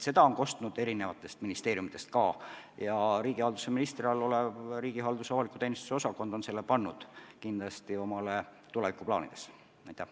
Seda on kostnud eri ministeeriumidest ka ja riigihalduse ministri käe all tegutsev riigihalduse ja avaliku teenistuse osakond on selle kindlasti omale tulevikuplaanidesse pannud.